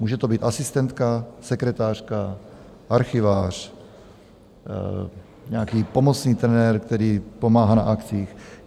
Může to být asistentka, sekretářka, archivář, nějaký pomocný trenér, který pomáhá na akcích?